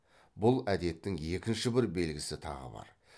бұл әдеттің екінші бір белгісі тағы бар